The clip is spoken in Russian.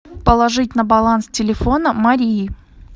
положить на баланс телефона марии